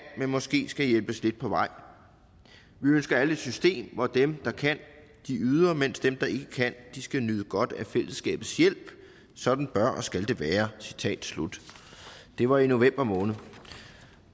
men måske skal hjælpes lidt på vej vi ønsker alle et system hvor dem der kan yder mens dem der ikke kan skal nyde godt af fællesskabets hjælp sådan bør og skal det være citat slut det var i november måned og